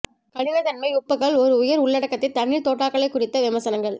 கடினத்தன்மை உப்புக்கள் ஒரு உயர் உள்ளடக்கத்தை தண்ணீர் தோட்டாக்களை குறித்த விமர்சனங்கள்